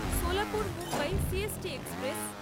Solapur-Mumbai C. S. T express